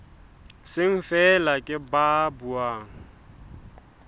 seng feela ke ba buang